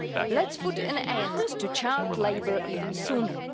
Let's put an end to child labour even sooner.